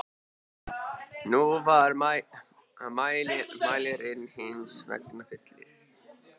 Nú var mælirinn hins vegar fullur.